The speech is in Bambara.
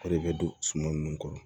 O de bɛ don suman nunnu kɔrɔ